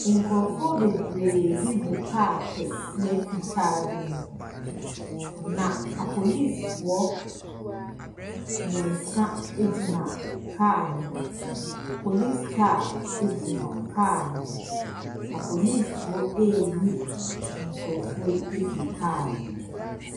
Nkurɔfoɔ bebree bi gu car kɛseɛ fitaa bi mu, na apolisifoɔ mmensa gyina car no ho. Police car gyina car no ho. Apolisifoɔ reyi nkurɔfoɔ yi afiri car no mu.